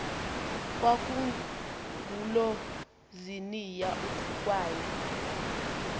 kwangulo ziniya uthukwayo